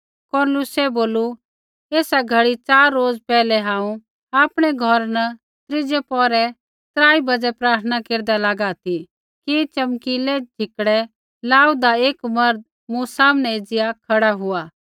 कुरनेलियुसै बोलू एसा घड़ी च़ार रोज़ पैहलै हांऊँ आपणै घौरा न त्रीज़ै पौहरै त्राई बाज़ै प्रार्थना केरदा लागा ती कि च़मकीलै झिकड़ै लाऊआ दा एक मर्द मूँ सामनै एज़िया खड़ा हुआ